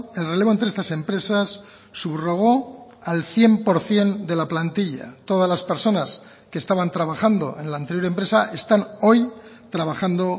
el relevo entre estas empresas subrogó al cien por ciento de la plantilla todas las personas que estaban trabajando en la anterior empresa están hoy trabajando